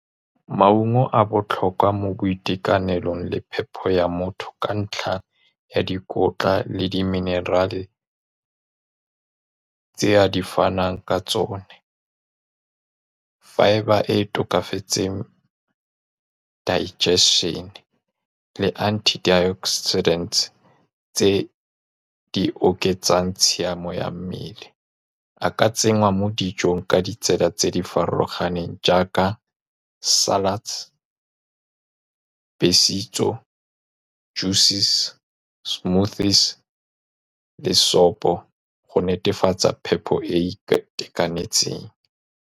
Maungo a botlhokwa mo boitekanelong le phepho ya motho ka ntlha ya dikotla le di-mineral-e tse a di fanang ka tsone. Fibre e e tokafetseng digestion-e le antioxidant tse di oketsang tshiamo ya mmele, a ka tsenngwa mo dijong ka ditsela tse di farologaneng jaaka salads juices, smoothies le sopo go netefatsa phepho e e e e itekanetseng.